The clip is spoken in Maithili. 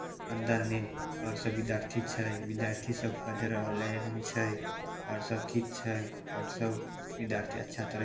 अंदर में और सब विद्यार्थी छै विद्यार्थी सब पेढ़ रहले हेन छै और सब ठीक छै और सब विद्यार्थी अच्छा तरह ---